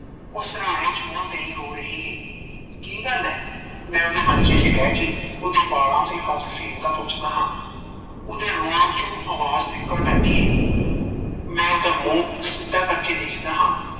ਓਹ ਸਰਾਣੇ ਚ ਮੂੰਹ ਦੇਈ ਰੋ ਰਹੀ ਏ ਕੀ ਗੱਲ ਏ ਮੈ ਓਦੇ ਮੰਜੇ ਤੇ ਬਹਿ ਕੇ ਉਦੇ ਵਾਲਾਂ ਤੇ ਹੱਥ ਫੇਰਦਾ ਪੁੱਛਦਾ ਹਾਂ, ਓਦੇ ਰੋਣ ਚੋਂ ਆਵਾਜ ਨਿਕਲ ਆਉਂਦੀ ਏ ਮੈ ਉਦਾ ਮੂੰਹ ਸਿੱਧਾ ਕਰਕੇ ਦੇਖਦਾ ਹਾਂ